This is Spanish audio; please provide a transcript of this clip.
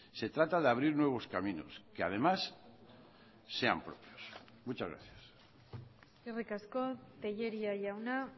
se trata de abrir nuevos caminos que además sean propios muchas gracias eskerrik asko tellería jauna